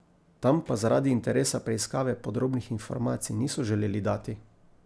Tam pa zaradi interesa preiskave podrobnih informacij niso želeli dati.